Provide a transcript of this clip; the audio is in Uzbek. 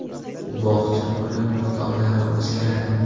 Bog‘cha puli miqdorlari o‘zgaradi.